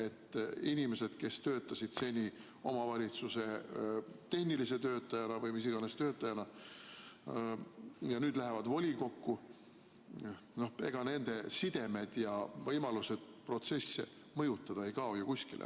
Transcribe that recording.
Kui inimesed, kes töötasid seni omavalitsuses tehnilise töötajana või mis iganes töötajana, nüüd lähevad volikokku, siis ega nende sidemed ja võimalused protsesse mõjutada ei kao ju kuskile.